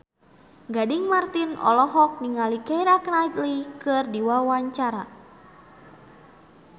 Gading Marten olohok ningali Keira Knightley keur diwawancara